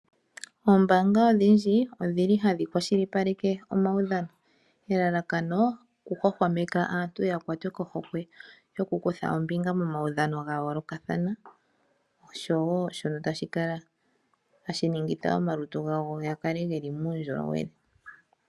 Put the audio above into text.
Oombanga odhindji odhili hadhi kwashilipaleke omaudhano, elalakano okuhwahwameka aantu ya kwatwe kohokwe yokukutha ombinga momaudhano ga yoolokathana. Oshowo shoka tashi ningitha omalutu gawo ga kale geli muundjolowele.